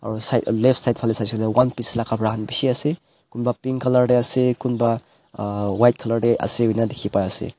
left side phale saishey kuile ekta piece laga bishi ase kunba pink colour deh ase kunba ahh buka colour teh ase keuna dikhi pai ase.